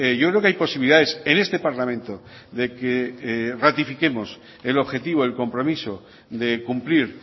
yo creo que hay posibilidades en este parlamento de que ratifiquemos el objetivo el compromiso de cumplir